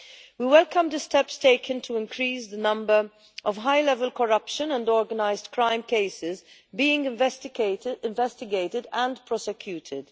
We welcome the steps taken to increase the number of high level corruption and organised crime cases being investigated and prosecuted.